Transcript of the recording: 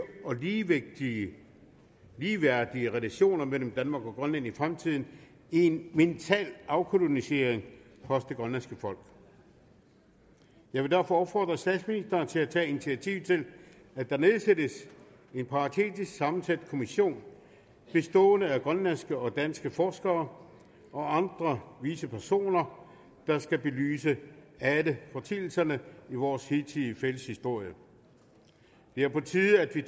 og ligeværdige ligeværdige relationer mellem danmark og grønland i fremtiden i en mental afkolonisering af det grønlandske folk jeg vil derfor opfordre statsministeren til at tage initiativ til at der nedsættes en paritetisk sammensat kommission bestående af grønlandske og danske forskere og andre vise personer der skal belyse alle foreteelserne i vores hidtidige fælles historie det er på tide at vi